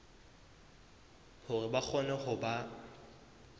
hore ba kgone ho ba